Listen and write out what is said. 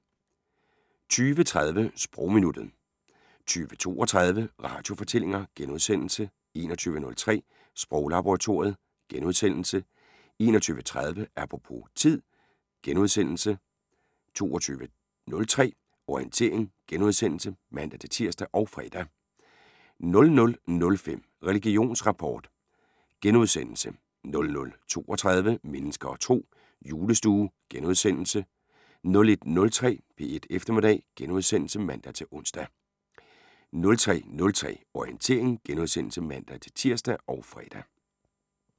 20:30: Sprogminuttet 20:32: Radiofortællinger * 21:03: Sproglaboratoriet * 21:30: Apropos - tid * 22:03: Orientering *(man-tir og fre) 00:05: Religionsrapport * 00:32: Mennesker og Tro: Julestue * 01:03: P1 Eftermiddag *(man-ons) 03:03: Orientering *(man-tir og fre)